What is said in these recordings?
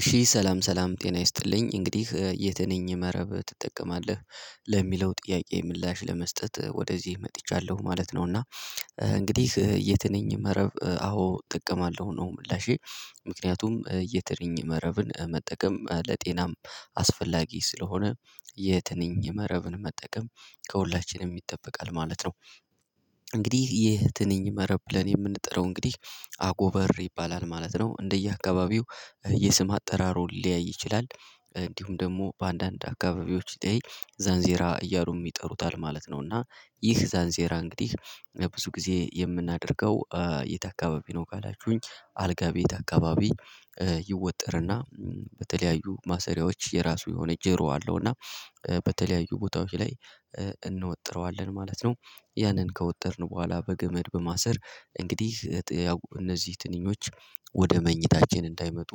እሺ ሰላም ሰላም ጤና ይስጥልኝ እንግዲህ "የትንኝ መረብ ትጠቀማለህ?" ለሚለው ጥያቄ ምላሽ ለመስጠት ወደዚህ መጥቻለሁ ማለት ነው፤ እና እንግዲህ የትነኝ መረብ አዎ እጠቀማለሁ ነው ምላሼ። ምክንያቱም የትንኝ መረብን መጠቀም ለጤናም አስፈላጊ ስለሆነ የትንኝ መረብን መጠቀም ከሁላችንም ይጠበቃል ማለት ነው። እንግዲህ ይህ ትንኝ መረብ ብለን የምንጠራው እንግዲህ አጎበር ይባላል ማለት ነው። እንደየአካባቢው የስም አጠራሩ ሊለያይ ይችላል እንዲሁም ደግሞ በአንዳንድ አካባቢዎች ላይ ዛንዚራ እያሉም ይጠሩታል ማለት ነው እና ይህ ዛንዚራ እንግዲህ ብዙ ጊዜ የምናደርገው የት አካባቢ ነው ካላችሁኝ አልጋ ቤት አካባቢ ይወጠርና በተለያዩ ማሰሪያዎች የራሱ የሆነ ጀሮ አለው እና በተለያዩ ቦታዎች ላይ እንወጥረዋለን ማለት ነው ያንን ከወጠርን በኋላ በገመድ በማሰር እንግዲህ እነዚህ ትንኞች ወደ መኝታችን እንዳይመጡ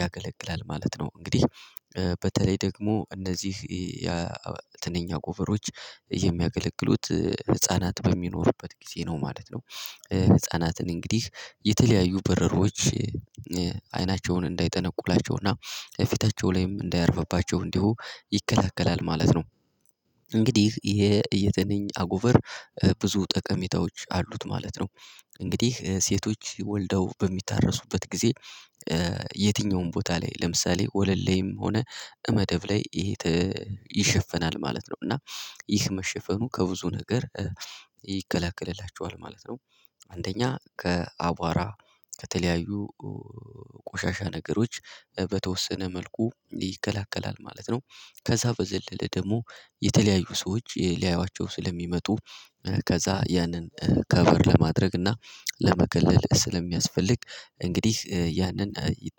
ያገለግላል ማለት ነው። እንግዲህ በተለይ ደግሞ እነዚህ የትንኛ አጎበሮዎች የሚያገለግሉት ህፃናት በሚኖሩበት ጊዜ ነው ማለት ነው። ህፃናትን እንግዲህ የተለያዩ በረሮዎች አይናቸውን እንዳይጠነቁላቸውና ፊታቸው ላይም እንዳያርፍባቸው እንዲሁ ይከለክላል ማለት ነው። እንግዲህ ይሄ የትንኝ አጎበር ብዙ ጠቀሜታዎች አሉት ማለት ነው። እንግዲህ ሴቶች ወልደው በሚታረሱበት ጊዜ የትኛውም ቦታ ላይ ለምሳሌ ወለል ላይም ሆነ መደብ ላይ ይሸፈናል ማለት ነው፤ እና ይህ መሸፈኑ ከብዙ ነገር ይከላከልላቸዋል ማለት ነው። አንደኛ ከአቧራ ከተለያዩ ቆሻሻ ነገሮች በተወሰነ መልኩ ይከለክላል ማለት ነው። ከዛ በዘለለ ደግሞ የተለያዩ ሰዎች ሊያዩዋቸው ስለሚመጡ ከዛ ያንን ከቨር ለማድረግ እና ለመከለል ስለሚያስፈልግ እንግዲህ ያንን ይጠ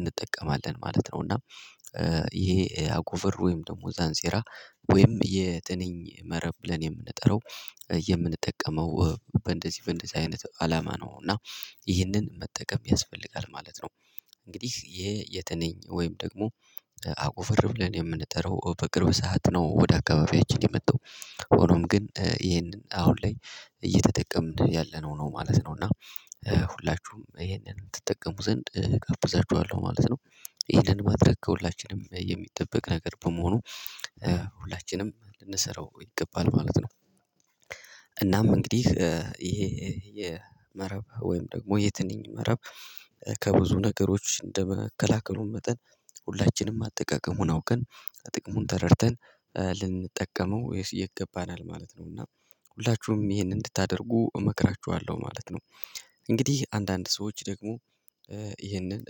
እንጠቀማለን ማለት ነው፤ እና ይሄ አጎቨር ወይም ደግሞ ዛንዚራ ወይም የትንኝ መረብ ብለኔ የምንጠራው የምንጠቀመው በእንደዚህ በእንደዚህ አይነት አላማ ነው እና ይህንን መጠቀም ያስፈልጋል ማለት ነው። እንግዲህ የትንኝ ወይም ደግሞ አጉቨር ብልን የምንጠራው በቅርብ ሰዓት ነው ወደ አካባቢያችን የመጣው። ሆኖም ግን ይሄንን አሁን ላይ እየተጠቀምን ያለነው ነው ማለት ነው፤ እና ሁላችሁም ይሄንን ትጠቀሙ ዘንድ እጋብዛችኋለሁ ማለት ነው። ይሄንን ማድረግ ከሁላችንም የሚጠበቅ ነገር በመሆኑ ሁላችንም ልንሰራው ይገባል ማለት ነው። እናም እንግዲህ ይሄ የመረብ ወይም ደግሞ የትንኝ መረብ ከብዙ ነገሮች እንደ መከላከሉም መጠን ሁላችንም አጠቃቀሙን አውቀን ጥቅሙን ተረድተን ልንጠቀመው ወይስ ይገባናል ማለት ነው፤ እና ሁላችሁም ይሄን እንድታደርጉ እመክራችኋለሁ ማለት ነው። እንግዲህ አንዳንድ ሰዎች ደግሞ ይህንን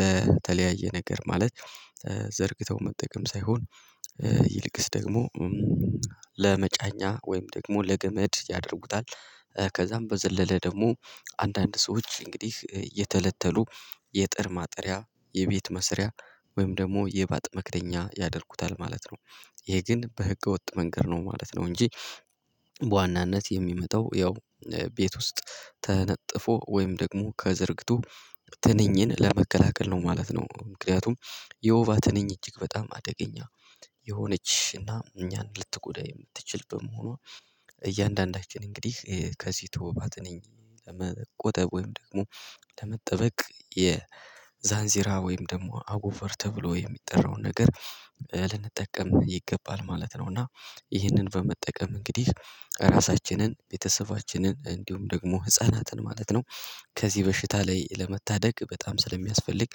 ለተለያየ ነገር ማለት ዘርግተው መጠቀም ሳይሆን ይልቅስ ደግሞ ለመጫኛ ወይም ደግሞ ለገመድ ያደርጉታል። ከዛም በዘለለ ደግሞ አንዳንድ ሰዎች እንግዲህ እየተለተሉ የጥር ማጠሪያ የቤት መስሪያ ወይም ደግሞ የባጥ መክደኛ ያደርጉታል ማለት ነው። ይሄ ግን በህገወጥ መንገድ ነው ማለት ነው እንጂ በዋናነት የሚመጣው ያው ቤት ውስጥ ተነጥፎ ወይም ደግሞ ከዘርግቶ ትንኝን ለመከላከል ነው ማለት ነው። ምክንያቱም የወባ ትነኝ እጅግ በጣም አደገኛ የሆነች እና እኛን ልትጎዳ የምትችልበት በመሆኗ እያንዳንዳችን እንግዲህ ከዚህ ተወባ ትነኝ ለመቆጠብ ወይም ደግሞ ለመጠበቅ የዛንዚራ ወይም ደግሞ አጎቨር ተብሎ የሚጠራውን ነገር ልንጠቀም ይገባል ማለት ነው እና ይህንን በመጠቀም እንግዲህ ራሳችንን ቤተሰባችንን እንዲሁም ደግሞ ህፃናትን ማለት ነው ከዚህ በሽታ ላይ ለመታደግ በጣም ስለሚያስፈልግ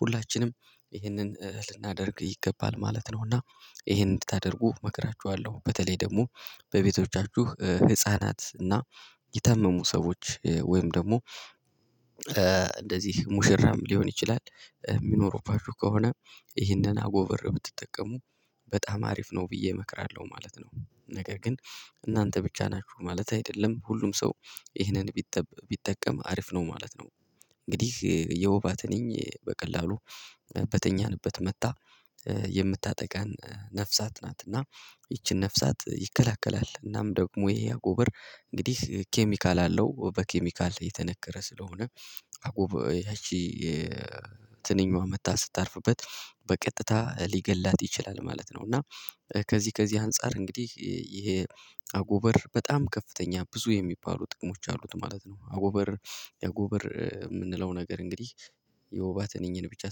ሁላችንም ይህንን ልናደርግ ይገባል ማለት ነው እና ይሄን እንድታደርጉ እመክራችኋለሁ በተለይ ደግሞ በቤቶቻችሁ ህፃናት እና የታመሙ ሰዎች ወይም ደግሞ እንደዚህ ሙሽራም ሊሆን ይችላል የሚኖሩባችሁ ከሆነ ይህንን አጎበር ብትጠቀሙ በጣም አሪፍ ነው ብዬ እመክራለሁ ማለት ነው፤ ነገር ግን እናንተ ብቻ ናችሁ ማለት አይደለም ሁሉም ሰው ይህንን ቢጠበ ቢጠቀም አሪፍ ነው ማለት ነው። እንግዲህ የወባትንኝ በቀላሉ በተኛንበት መጥታ የምታጠቃን ነፍሳት ናት እና ይቺን ነፍሳት ይከለክላል እናም ደግሞ ይሄ አጎበር እንግዲህ ኬሚካል አለው በኬሚካል የተነከረ ስለሆነ አጎበር ያቺ ትንኝዋ መጥታ ስታርፍበት በቀጥታ ሊገላት ይችላል ማለት ነው፤ እና ከዚህ ከዚህ አንፃር እንግዲህ ይሄ አጎበር በጣም ከፍተኛ ብዙ የሚባሉ ጥቅሞች አሉት ማለት ነው። አጎበር አጎበር የምንለው ነገር እንግዲህ የወባ ትንኝን ብቻ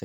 ሳይሆን